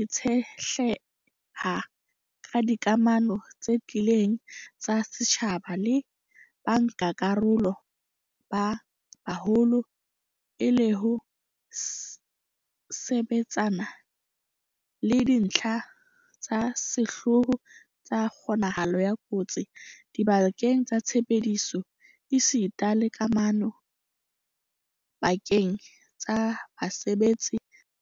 itshetleha ka dikamano tse tiileng tsa setjhaba le bankakarolo ba baholo e le ho sebetsana le dintlha tsa sehlooho tsa kgonahalo ya kotsi dibakeng tsa tshebetso esita le kamano pa-keng tsa basebetsi le setjhaba.